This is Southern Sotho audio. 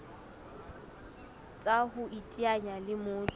tsa ho iteanya le motho